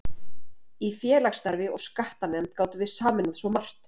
Í félagsstarfi og skattanefnd gátum við sameinað svo margt.